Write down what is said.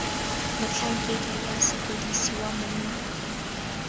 motlhankedi wa sepodisi wa monna